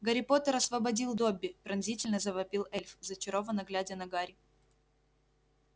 гарри поттер освободил добби пронзительно завопил эльф зачарованно глядя на гарри